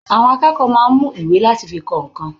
Àwọn akẹ́kọ̀ọ́ máa ń mú ìwé láti fi kọ nǹkan.